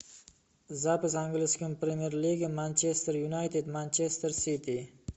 запись английской премьер лиги манчестер юнайтед манчестер сити